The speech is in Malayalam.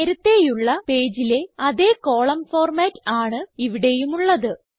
നേരത്തേയുള്ള പേജിലെ അതേ കോളം ഫോർമാറ്റ് ആണ് ഇവിടെയുമുള്ളത്